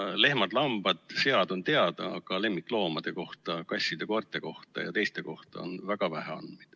Lehmad, lambad, sead on teada, aga lemmikloomade kohta, kasside-koerte ja teiste kohta on väga vähe andmeid.